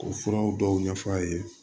K'o furaw dɔw ɲɛf'a ye